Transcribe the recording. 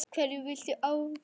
Hverju viltu áorka?